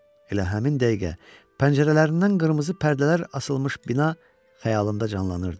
Elə həmin dəqiqə pəncərələrindən qırmızı pərdələr asılmış bina xəyalımda canlanırdı.